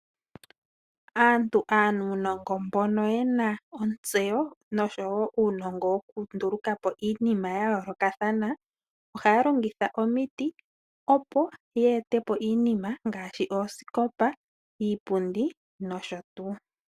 Aantu aanuunongo mbono yena ontseyo noshowo uunongo woku nduluka po iinima ya yoolokathana, ohaya longitha omiti, opo ye ete po iinima ngaashi oosikopa, iipundi nosho tuu.